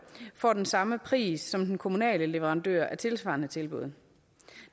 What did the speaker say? får den samme pris som den kommunale leverandør af tilsvarende tilbud